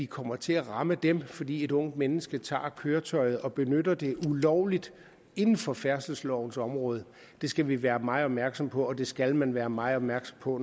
kommer til at ramme dem fordi et ungt menneske tager køretøjet og benytter det ulovligt inden for færdselslovens område det skal vi være meget opmærksomme på og det skal man være meget opmærksom på